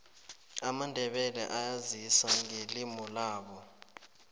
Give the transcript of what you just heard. amandebele ayazisa ngelimulabo